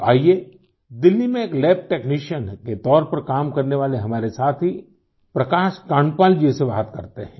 तो आइये दिल्ली में एक लैब टेक्नीशियन के तौर पर काम करने वाले हमारे साथी प्रकाश कांडपाल जी से बात करते हैं